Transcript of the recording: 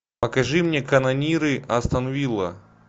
покажи мне канониры астон вилла